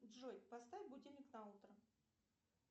джой поставь будильник на утро